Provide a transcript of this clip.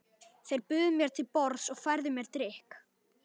Þeir buðu mér til borðs og færðu mér drykk.